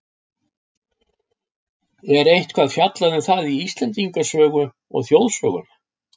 Er eitthvað fjallað um það í Íslendingasögu og þjóðsögum?